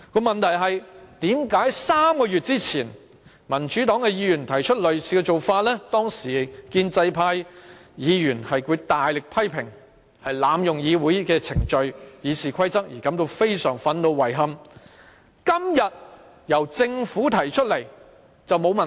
問題是，為何3個月前民主黨議員提出類似做法，建制派議員強烈批評我們濫用議會程序和《議事規則》，因而感到非常憤怒和遺憾，但今天由政府提出便沒有問題？